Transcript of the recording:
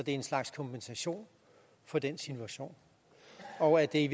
en slags kompensation for den situation og er det